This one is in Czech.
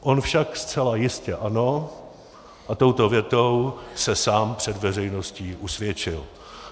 On však zcela jistě ano a touto větou se sám před veřejností usvědčil.